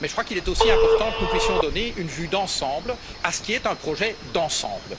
Mais je crois qu'il est aussi important que nous puissions donner une vue d'ensemble à ce qui est un projet d'ensemble.